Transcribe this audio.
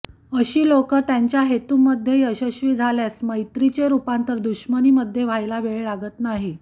अशी लोकं त्यांच्या हेतूमध्ये यशस्वी झाल्यास मैत्रीचे रूपांतर दुश्मनीमध्ये व्हायला वेळ लागत नाही